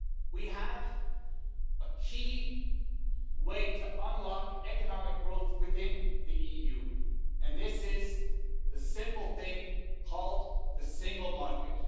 We have a key way to unlock economic growth within the EU and this is the simple thing called the single market.